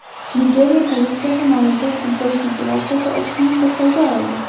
Nigeriya politsiyasi mamlakat futbol federatsiyasi ofisini qurshovga oldi.